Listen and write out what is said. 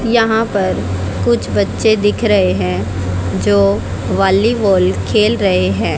यहां पर कुछ बच्चे दिख रहे हैं जो बॉलीवॉल खेल रहे हैं।